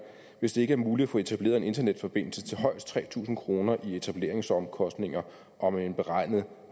hvis det ikke er muligt at få etableret en internetforbindelse til højst tre tusind kroner i etableringsomkostninger og med en beregnet